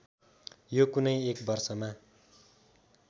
यो कुनै एक वर्षमा